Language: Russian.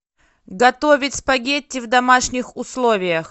готовить спагетти в домашних условиях